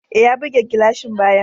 E, ya buge gilashin bayan.